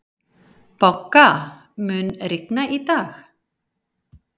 Bogga, mun rigna í dag?